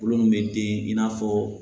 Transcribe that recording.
Kulo min bɛ den i n'a fɔ